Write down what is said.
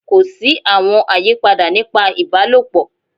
Ko si awọn ayipada nipa ibalopọ